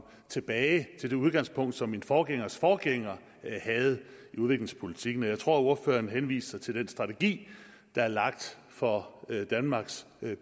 tilbage til det udgangspunkt som min forgængers forgænger havde i udviklingspolitikken og jeg tror at ordføreren henviser til den strategi der er lagt for danmarks